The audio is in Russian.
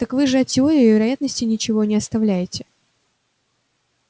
так вы же от теории вероятности ничего не оставляете